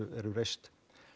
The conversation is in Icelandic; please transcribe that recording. eru reist